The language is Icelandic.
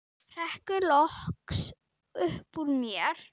hrekkur loks upp úr mér.